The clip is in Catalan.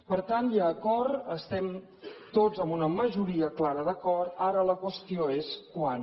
per tant hi ha acord estem tots amb una majoria clara d’acord ara la qüestió és quan